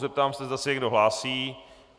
Zeptám se, zda se někdo hlásí.